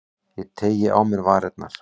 Ég teygi á mér varirnar.